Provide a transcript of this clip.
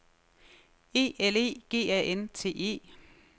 E L E G A N T E